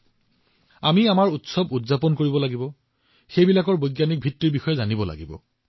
আহক আমি আমাৰ উৎসৱবোৰ উদযাপন কৰোঁ ইয়াৰ বৈজ্ঞানিকতা বুজি পাওঁ ইয়াৰ আঁৰৰ অৰ্থ বুজি পাওঁ